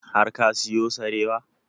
Har ka siyo sarewa?